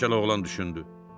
Keçəl oğlan düşündü.